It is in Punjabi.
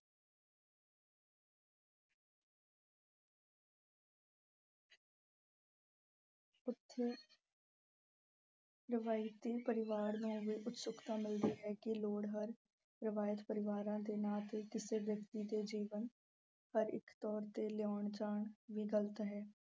ਰਵਾਇਤੀ ਪਰਿਵਾਰ ਨੂੰ ਵੀ ਉਤਸੁਕਤਾ ਮਿਲਦੀ ਹੈ ਕਿ ਲੋੜ ਹਰ ਰਵਾਇਤ ਪਰਿਵਾਰਾਂ ਦੇ ਨਾਮ ਤੇ ਕਿਸੀ ਵਿਅਕਤੀ ਦੇ ਜੀਵਨ ਪਰ ਇੱਕ ਤੌਰ ਤੇ ਲਿਆਉਣ ਜਾਉਣ ਵੀ ਗਲਤ ਹੈ।